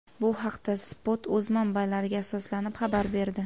Bu haqda Spot o‘z manbalariga asoslanib xabar berdi .